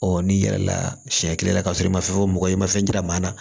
n'i yɛrɛ laa siɲɛ kelen na ka sɔrɔ i ma fɛn fɔ mɔgɔ ye i ma fɛn yira maa na